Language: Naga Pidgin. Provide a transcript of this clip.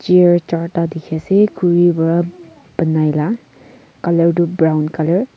deer charta dikhi asey khuri bra benai la colour du brown colour .